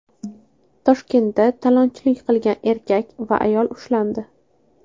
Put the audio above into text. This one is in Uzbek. Toshkentda talonchilik qilgan erkak va ayol ushlandi.